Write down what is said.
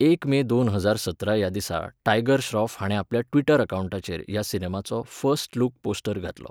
एक मे दोन हजार सतरा ह्या दिसा टायगर श्रॉफ हाणें आपल्या ट्विटर अकावंटाचेर ह्या सिनेमाचो फर्स्ट लूक पोस्टर घातलो.